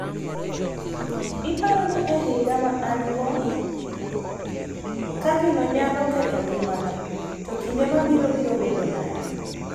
... iparo ni e higni ma an go, ka gino nyalo ketho ngimana, to kinde mabiro biro bedo nade?